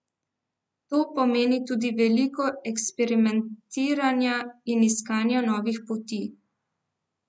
To pomeni tudi veliko eksperimentiranja in iskanja novih poti.